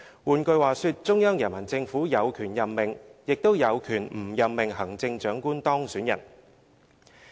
換句話說，中央人民政府有權任命、也有權不任命行政長官當選人。